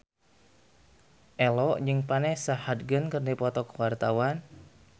Ello jeung Vanessa Hudgens keur dipoto ku wartawan